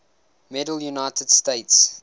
medal united states